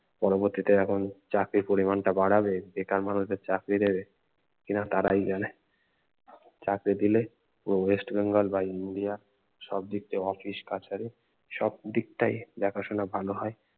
পরবর্তীতে এখন চাকরির পরিমান টা বাড়াবে বেকার মানুষদের চাকরি দেবে এরা তারাই জানে চাকরি দিলে পুরো ওয়েস্ট বেঙ্গল বা ইন্ডিয়া সব দিক দিয়ে অফিস কাচারী সব দিকটাই দেখাশুনা ভালো হয়